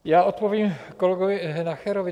Já odpovím kolegovi Nacherovi.